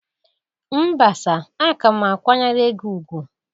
Mba sir, a ka m kwanyere gi ugwu